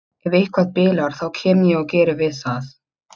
Ef eitthvað bilar þá kem ég og geri við það.